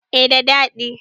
eh da dadi